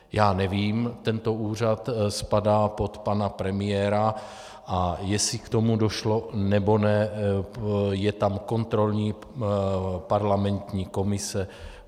Já nevím, tento úřad spadá pod pana premiéra, a jestli k tomu došlo, nebo ne, je tam kontrolní parlamentní komise.